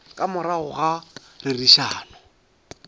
ka morago ga go rerišana